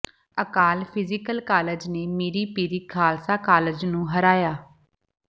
ਅਕਾਲ physical college ਨੇ Miri Piri Khalsa college ਨੂੰ ਹਰਾਇਆ